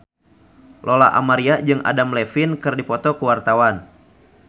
Lola Amaria jeung Adam Levine keur dipoto ku wartawan